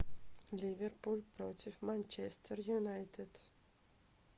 ливерпуль против манчестер юнайтед